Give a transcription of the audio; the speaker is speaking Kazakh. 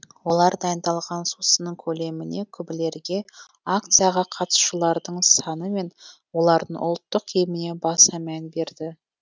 олар дайындалған сусынның көлеміне күбілерге акцияға қатысушылардың саны мен олардың ұлттық киіміне баса мән берді